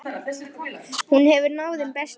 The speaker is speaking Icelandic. Hún hefur náð þeim bestu.